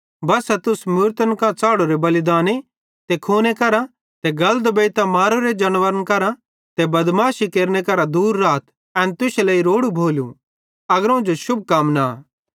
बस्सा तुस मूरतन कां च़ाढ़ोरे बलिदाने ते खून करां ते गल दुबेइतां मारोरे जानवरे करां ते बदमाशी केरने करां दूर राथ एन तुश्शे लेइ रोड़ू भोलू अग्रोवं जो शुभकामना